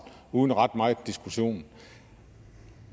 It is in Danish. uden ret meget diskussion